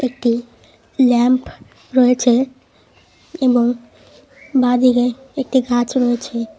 একটি ল্যাম্প রয়েছে এবং বাঁদিকে একটি গাছ রয়েছে।